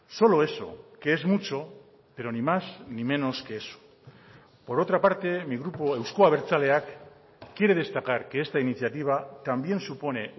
solo eso que es mucho pero ni más ni menos que eso por otra parte mi grupo euzko abertzaleak quiere destacar que esta iniciativa también supone